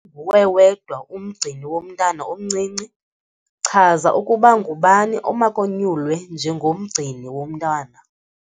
Nguwe wedwa umgcini womntana omncinci, chaza ukuba ngubani omakonyulwe njengomgcini womntana.